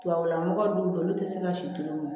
Tubabula mɔgɔw bɛ yen olu tɛ se ka si kelen mɔ